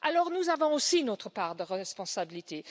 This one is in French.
Nous avons aussi notre part de responsabilité.